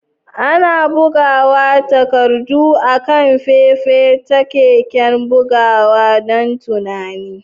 Ana buga takardu akan fefa ta keken bugawa don tunani.